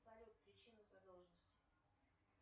салют причина задолженности